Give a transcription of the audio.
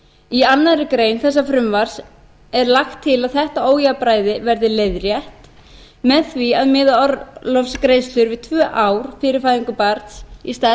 í annarri grein þessa frumvarps er lagt til að þetta ójafnræði verði leiðrétt með því að miða orlofsgreiðslur við tvö ár fyrir fæðingu barns í stað